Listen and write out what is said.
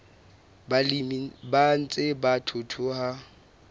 balemi ba ntseng ba thuthuha